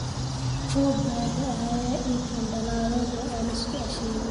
Roob baa da'aya ii keena dallado aan isku aasheriyo